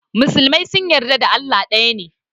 Musulmai sun yarda da Allah ɗaya ne.